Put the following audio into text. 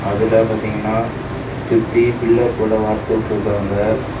அதுல பாத்தீங்கன்னா சுத்தி பில்லர் போல வார்த்து விட்டுருக்காங்க.